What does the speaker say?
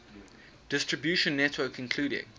distribution network including